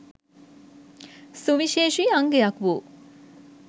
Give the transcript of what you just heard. සුවිශේෂී අංගයක් වූ